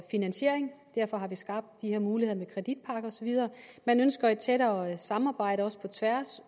finansiering derfor har vi skabt de her muligheder med kreditpakker og så videre man ønsker et tættere samarbejde også på tværs